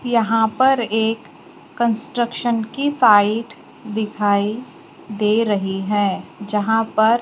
यहां पर एक कंस्ट्रक्शन की साईट दिखाई दे रही है जहां पर --